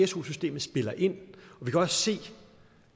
su systemet spiller ind vi kan også se